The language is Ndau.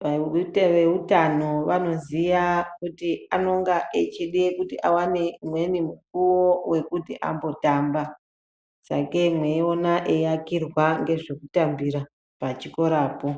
dai nevehutano vanoziva kuti anofana kuwane imweni mukuwo wekuti ambotamba sakei meimona eiakirwa zvekutambira pachikorapo.